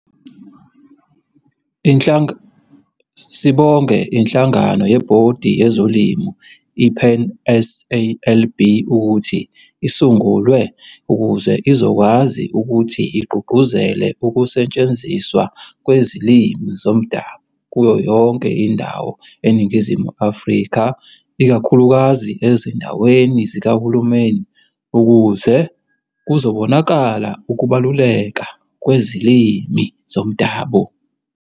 Sibonge inhlanagano yebhodi yezolimi iPanSALB ukuthi isungulwe ukuze izokwazi ukuthi igqugquzele ukusetshenziswa kwezilimi zomdabu kuyo yonke indawo eNingizimu Afrika ikakhulukazi ezindaweni zikaHulumeni ukuze kuzobonakala ukubaluleka kwezilimi zomdabu.